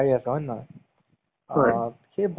তোমাৰ ধুনীয়া ধুনীয়া movies বোৰ দি আছে